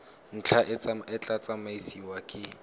ntlha e tla tsamaisiwa ke